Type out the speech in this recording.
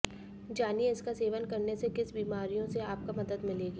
जानिए इसका सेवन करने से किस बीमारियों से आपका मदद मिलेगी